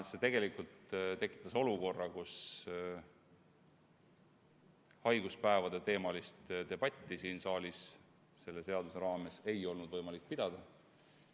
See tekitas olukorra, kus haiguspäevadeteemalist debatti siin saalis selle seaduseelnõu menetlemise raames ei olnud võimalik pidada.